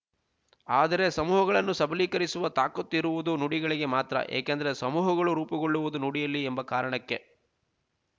ಆದರೆ ಸಮೂಹಗಳನ್ನು ಸಬಲೀಕರಿಸುವ ತಾಕತ್ತು ಇರುವುದು ನುಡಿಗಳಿಗೆ ಮಾತ್ರ ಏಕೆಂದರೆ ಸಮೂಹಗಳು ರೂಪುಗೊಳ್ಳುವುದು ನುಡಿಯಲ್ಲಿ ಎಂಬ ಕಾರಣಕ್ಕೆ